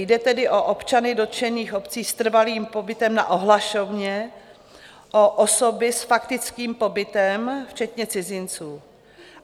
Jde tedy o občany dotčených obcí s trvalým pobytem na ohlašovně, o osoby s faktickým pobytem, včetně cizinců.